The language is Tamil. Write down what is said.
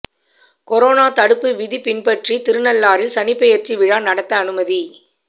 கொரோனா தடுப்பு விதி பின்பற்றி திருநள்ளாறில் சனிப்பெயர்ச்சி விழா நடத்த அனுமதி